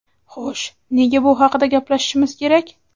Xo‘sh nega bu haqida gaplashishimiz kerak?.